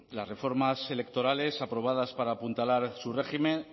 las reformas electorales aprobadas para apuntalar su régimen